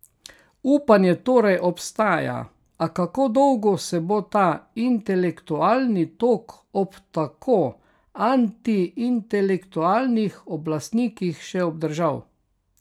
Upanje torej obstaja, a kako dolgo se bo ta intelektualni tok ob tako antiintelektualnih oblastnikih še obdržal?